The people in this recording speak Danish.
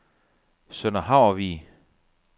Sønder Havrvig